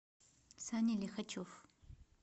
саня лихачев